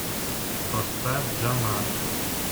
поставь джамар